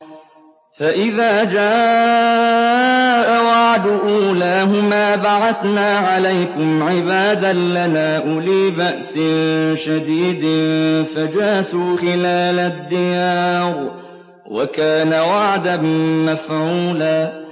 فَإِذَا جَاءَ وَعْدُ أُولَاهُمَا بَعَثْنَا عَلَيْكُمْ عِبَادًا لَّنَا أُولِي بَأْسٍ شَدِيدٍ فَجَاسُوا خِلَالَ الدِّيَارِ ۚ وَكَانَ وَعْدًا مَّفْعُولًا